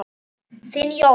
Þinn Jóhann.